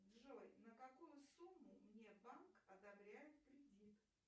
джой на какую сумму мне банк одобряет кредит